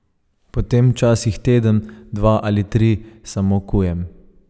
Potem včasih teden, dva ali tri samo kujem.